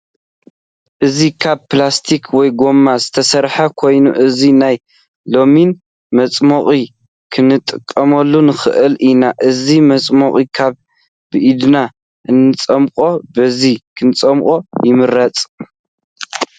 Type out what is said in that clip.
እዚ ካብ ፕላስቲክ ወይ ጎማ ዝተሰርሐ ኮይኑ እዚ ናይ ሎሚን መፅሞቂ ክንጥቀመሉ ንክእል ኢና። እዚ ማፅሞቂ ካብ ብኢድና እንፀሙቕ በዚ ክንፀሙቕ ይምረፅ።